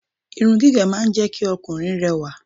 irun gígé máa ń jẹ́ kí Ọkùnrin rẹwà